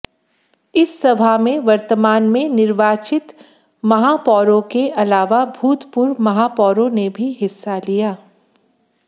इस सभा में वर्तमान में निर्वाचित महापौरों के अलावा भूतपूर्व महापौरों ने भी हिस्सा लिया